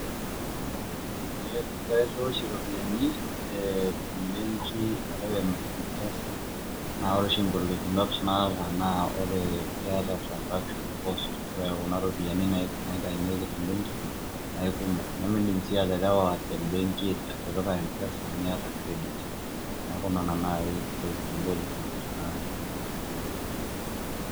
Ee kairiwaa oshi iropiani te mbenki arashu te mpesa naa ore ng'olikinot naata naa ore keeta transaction cost, ore kuna ropiani niitayunyeki te mbenki neeku kumok, nemiindim sii aterewa te mbenki atipika mpesa miata credit. Neeku nena nai ntokitin ng'olikinot natii.